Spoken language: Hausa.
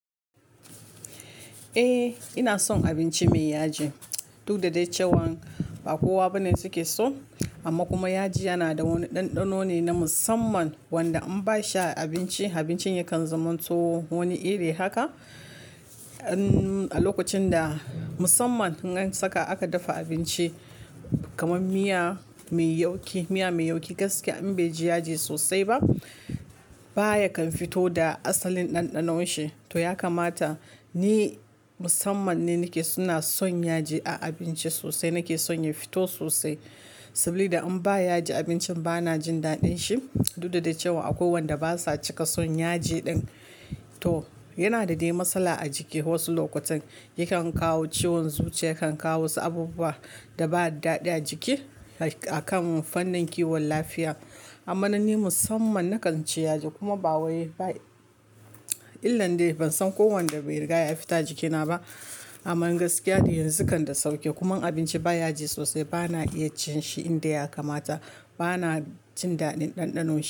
Eh, ina son abinci mai yaji, duk da dai cewan ba kowa bane suke so. Amma kuma yaji yana da wani ɗanɗano ne na musamman wanda in ba a shi abinci, abincin yakan zaman to wani iri haka. An-- a lokacin da musamman idan saka aka dafa abinci kamar miya mai yauki, miya mai yauki gaskiya in bai ji yaji sosai ba baya kan fito da asalin ɗanɗanon shi. To ya kamata ni musamman ne nake ina son yaji a abinci sosai. Nake son ya fito sosai sabilida da in ba yaji abincin bana jin daɗin shi duk da cewa akwai wanda basa cika son yaji ɗin. To yana da dai matsala a jiki. Wasu lokutan yakan kawo ciwon zuciya, kan kawo wasu abubuwa da ba daɗɗi a jiki akan fannin kiwon lafiya. Amma nan ni musamman nakan ci yaji kuma ba wai ba yi. Illan dai ban san kowanne bai riga ya fita jikina ba. Amman gaskiya dai yanzu kan da sauke kuma abinci ba yaji sosai bana iya cin shi in da ya kamata. Bana jin daɗin ɗanɗanon shi.